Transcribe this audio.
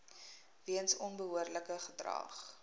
weens onbehoorlike gedrag